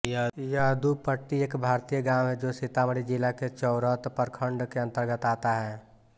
यदुपट्टी एक भारतीय गांव है जो सीतामढ़ी जिला के चोरौत प्रखंड के अन्तर्गत आता है